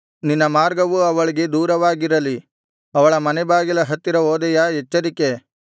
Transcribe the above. ನಿನ್ನ ಮಾರ್ಗವು ಅವಳಿಗೆ ದೂರವಾಗಿರಲಿ ಅವಳ ಮನೆಬಾಗಿಲ ಹತ್ತಿರ ಹೋದೆಯಾ ಎಚ್ಚರಿಕೆ